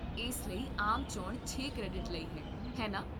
ਇਸ ਲਈ ਆਮ ਚੋਣ ਛੇ ਕ੍ਰੈਡਿਟ ਲਈ ਹੈ, ਹੈ ਨਾ?